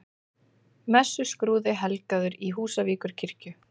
Messuskrúði helgaður í Húsavíkurkirkju